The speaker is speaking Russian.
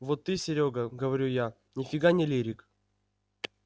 вот ты серёг говорю я ни фига не лирик